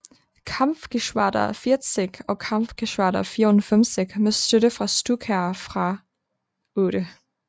Kampfgeschwader 40 og Kampfgeschwader 54 med støtte fra Stukaer fra VIII